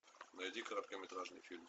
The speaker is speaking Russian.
найди короткометражный фильм